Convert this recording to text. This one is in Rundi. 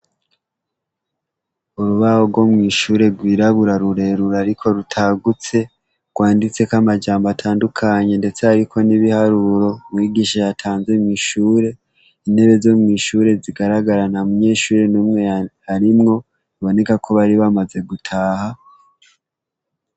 Urubaho rwo mw'ishure rwirabura rurerura, ariko rutagutse rwanditse ko amajambo atandukanye, ndetse, ariko n'ibiharuro mwigisha hatanze mw'ishure intebe zo mw'ishure zigaragarana mu nyeshuri n'umwe arimwo biboneka ko bari bamaze gutaha.